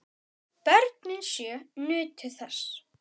Börnin sjö nutu þess.